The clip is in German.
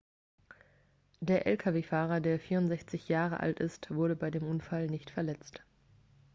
der lkw-fahrer der 64 jahre alt ist wurde bei dem unfall nicht verletzt